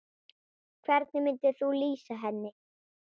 Hvernig myndir þú lýsa henni?